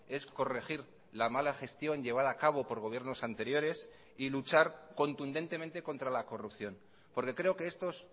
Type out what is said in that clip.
es corregir la mala gestión llevada a cabo por gobiernos anteriores y luchar contundentemente contra la corrupción porque creo que estos